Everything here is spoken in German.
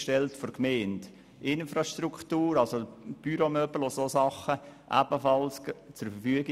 Die jeweiligen Gemeinden stellten ebenfalls die Infrastruktur wie Büromöbel und anderes zur Verfügung.